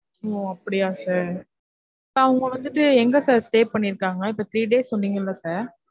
ஓ அப்டியா sir அவங்க வந்துட்டு எங்க sir stay பண்ணிருக்காங்க இப்ப three days சொன்னிங்கல்ல